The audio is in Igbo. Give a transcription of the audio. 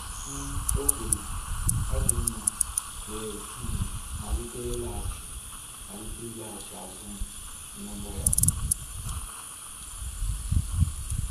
um O kwuru “Ọ dị mma" wee um malite ịlaghachi malite ịlaghachi azụ n’ụgbọ ya.